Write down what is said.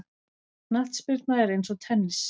Knattspyrna er eins og tennis.